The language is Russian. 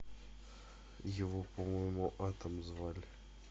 его по моему атом звали